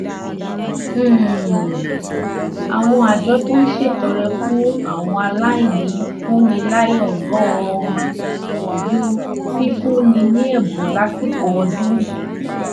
um àwọn àjọ tó ń ṣètọrẹ fún àwọn aláìní ń fúnni láyọ̀ gan-an ju fífúnni ní ẹ̀bùn lásìkò ọdún